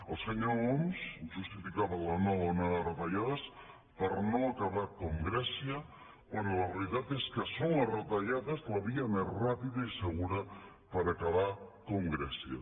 el senyor homs justificava la nova onada de retallades per no acabar com grècia quan la realitat és que són les retallades la via més ràpida i segura per acabar com grècia